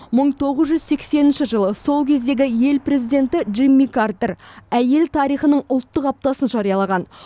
мың тоғыз жүз сексенінші жылы сол кездегі ел президенті джимми картер әйел тарихының ұлттық аптасын жариялаған